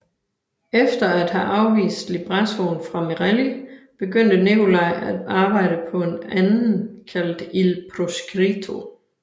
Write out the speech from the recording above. Efter at have afvist librettoen fra Merelli begyndte Nicolai at arbejde på en anden kaldet Il Proscritto